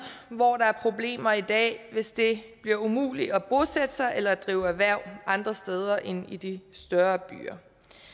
hvor der er problemer i dag hvis det bliver umuligt at bosætte sig eller drive erhverv andre steder end i de større byer